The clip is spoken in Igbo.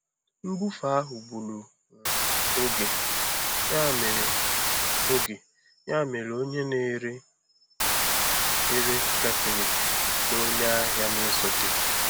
Nbufe ahụ gburu um oge, ya mere oge, ya mere onye na-ere ere gafere na onye ahịa na-esote.